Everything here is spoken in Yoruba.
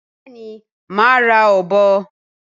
Bẹẹni má ra ọ̀bọ